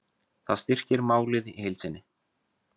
Það styrkir málið í heild sinni